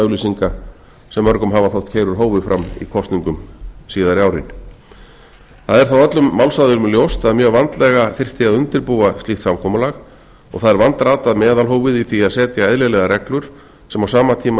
blaðaauglýsinga sem mörgum hafa þótt keyra úr hófi fram í kosningum síðari árin það er þó öllum málsaðilum ljóst að að mjög vandlega þyrfti að undirbúa slíkt samkomulag og það er vandratað meðalhófið í því að setja eðlilegar reglur sem á sama tíma